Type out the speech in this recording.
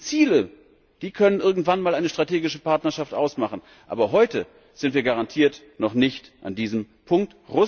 Diese Ziele können irgendwann einmal eine strategische Partnerschaft ausmachen, aber heute sind wir garantiert noch nicht an diesem Punkt.